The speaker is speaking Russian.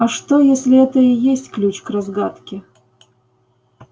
а что если это и есть ключ к разгадке